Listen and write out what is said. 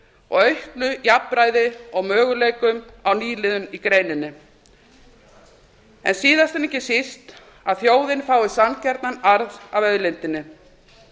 og auknu jafnræði og möguleikum á nýliðun í greininni en síðast en ekki síst að þjóðin fái sanngjarnan arð af auðlindinni